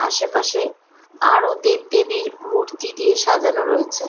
আশেপাশে আরো দেব দেবীর মূর্তি দিয়ে সাজানো রয়েছে।